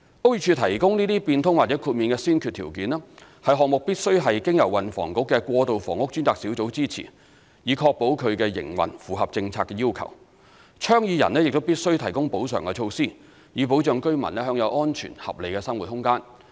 屋宇署提供該些變通或豁免的先決條件，是項目必須是經由運輸及房屋局的過渡房屋專責小組支持，以確保其營運符合政策要求，倡議人亦必須提供補償措施，以保障居民享有安全和合理的生活空間。